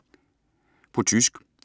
På tysk